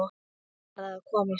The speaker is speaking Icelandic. Hann varð að komast út.